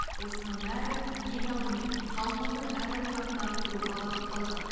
осының бәрі ең алдымен халқымыздың әл ауқатын арттыруға бағытталған